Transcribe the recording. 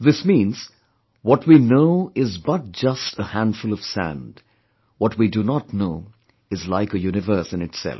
This means, what we know is but just a handful of sand; what we do not know is like a universe in itself